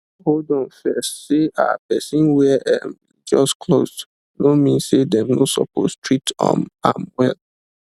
hold on first say um person wear um religious cloth no mean say dem no suppose treat um am well